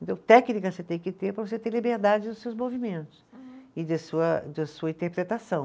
Então técnica você tem que ter para você ter liberdade dos seus movimentos e de sua, da sua interpretação.